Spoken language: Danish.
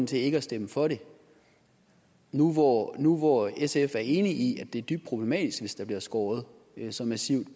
til ikke at stemme for det nu hvor nu hvor sf er enig i at det er dybt problematisk hvis der bliver skåret så massivt